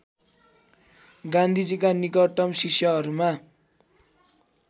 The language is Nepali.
गान्धीजीका निकटतम शिष्यहरूमा